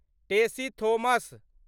Tessy Thomas